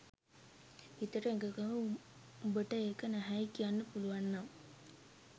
හිතට එකඟව උඹට ඒක නැහැයි කියන්න පුලුවන්නම්